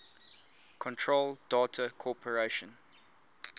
control data corporation